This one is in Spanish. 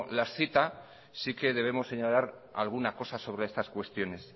las cita sí que debemos señalar alguna cosa sobre estas cuestiones